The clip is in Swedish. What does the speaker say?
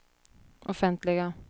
offentliga